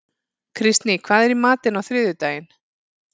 Kristný, hvað er í matinn á þriðjudaginn?